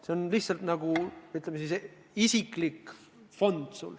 See on lihtsalt nagu, ütleme siis, sinu isiklik fond.